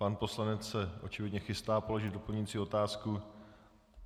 Pan poslanec se očividně chystá položit doplňující otázku.